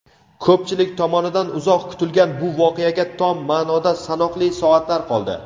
Ko‘pchilik tomonidan uzoq kutilgan bu voqeaga tom ma’noda sanoqli soatlar qoldi.